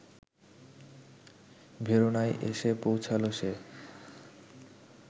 ভেরোনায় এসে পৌঁছাল সে